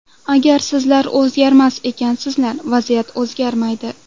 Agar sizlar o‘zgarmas ekansizlar, vaziyat o‘zgarmaydi.